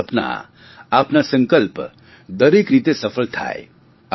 આપનાં સપનાં આપના સંકલ્પ દરેક રીતે સફળ થાય